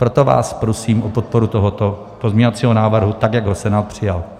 Proto vás prosím o podporu tohoto pozměňovacího návrhu, tak jak ho Senát přijal.